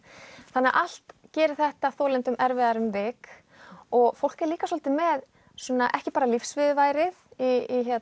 þannig að allt gerir þetta þolendum erfitt um vik og fólk er líka svolítið með ekki bara lífsviðurværið í